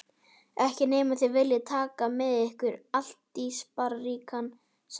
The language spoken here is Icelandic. Ekki nema þið viljið taka með ykkur altarisbríkina, sagði hann.